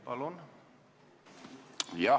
Palun!